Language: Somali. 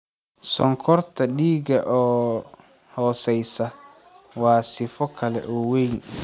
Sonkorta dhiiga oo hooseysa (hypoglycemiaga) waa sifo kale oo weyn.